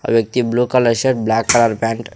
ఆ వ్యక్తి blue colour shirt black colour pant .